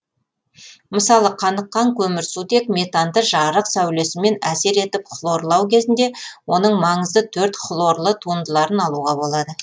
мысалы қаныққан көмірсутек метанды жарық сәулесімен әсер етіп хлорлау кезінде оның маңызды төрт хлорлы туындыларын алуға болады